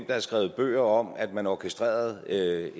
der er skrevet bøger om at man orkestrerede